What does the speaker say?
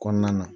Kɔnɔna na